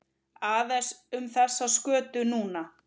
Aðeins um þessa skötu núna?